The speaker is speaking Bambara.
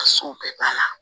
Ka so bɛɛ banna